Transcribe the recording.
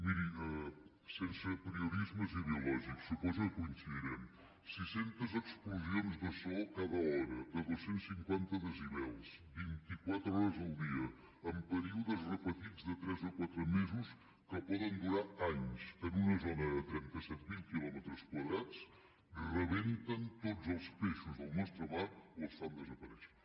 miri sense apriorismes ideològics suposo que coincidirem sis centes explosions de so cada hora de dos cents i cinquanta decibels vint i quatre hores al dia en períodes repetits de tres o quatre mesos que poden durar anys en una zona de trenta set mil quilòmetres quadrats rebenten tots els peixos del nostre mar o els fan desaparèixer